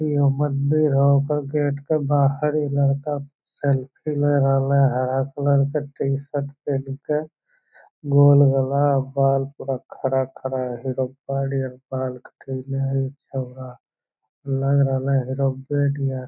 यह मंदिर हो। ओकर गेट के बाहर ई लड़का सेल्फी ले रहले ह। हरा कलर के टी-शर्ट पेन्ह के गोल गला और बाल पूरा खड़ा-खड़ा है। हिड़ब्बा नियर बाल कटैले हई छौड़ा लग रहलै है हिड़ब्बा नियर।